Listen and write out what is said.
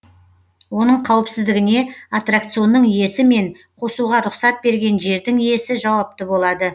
оның қауіпсіздігіне аттракционның иесі мен қосуға рұқсат берген жердің иесі жауапты болады